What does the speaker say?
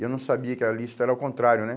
E eu não sabia que a lista era ao contrário, né?